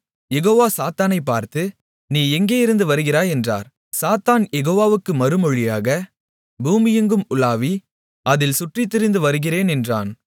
யெகோவா சாத்தானைப் பார்த்து நீ எங்கேயிருந்து வருகிறாய் என்றார் சாத்தான் யெகோவாவுக்கு மறுமொழியாக பூமியெங்கும் உலாவி அதில் சுற்றித்திரிந்து வருகிறேன் என்றான்